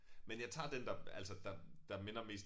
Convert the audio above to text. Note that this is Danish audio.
Men jeg tager den der altså der der minder mest